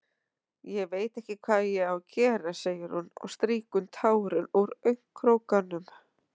Ég veit ekki hvað ég á að gera, segir hún og strýkur tár úr augnkrókunum.